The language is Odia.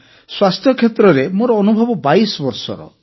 ସ୍ୱାସ୍ଥ୍ୟକ୍ଷେତ୍ରରେ ମୋର ଅନୁଭବ 22 ବର୍ଷର